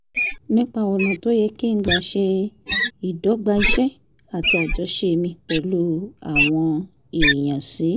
nípa ọ̀nà tó yẹ kí n gbà ṣe ìdọ́gba iṣẹ́ àti àjọṣe mi pẹ̀lú àwọn èèyàn sí